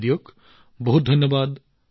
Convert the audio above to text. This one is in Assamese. আপোনালোক সকলোকে অশেষ ধন্যবাদ